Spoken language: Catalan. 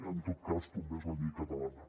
en tot cas tombés la llei catalana